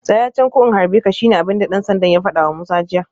Tsaya can ko in harbe ka shine abinda dan sandan ya fadawa Musa jiya